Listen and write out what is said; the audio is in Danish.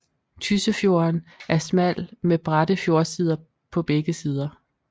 Tyssefjorden er smal med bratte fjordsider på begge sider